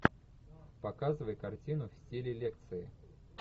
показывай картину в стиле лекции